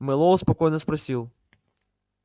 мэллоу спокойно спросил